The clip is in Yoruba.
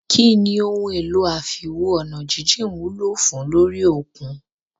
Kínní ohun èlò àfiwo-ọ̀nàjíjìn wúlò fùn ún lórí òkun?